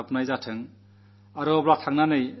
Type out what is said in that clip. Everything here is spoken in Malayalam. അതാകട്ടെ യഥാർഥ ശക്തിസാധന